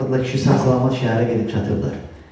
Arvadla kişi sağ-salamat şəhərə gedib çatıblar.